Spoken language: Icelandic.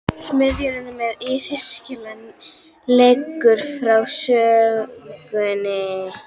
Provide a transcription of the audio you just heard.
Smiðurinn með yfirskeggið leggur frá sér sögina.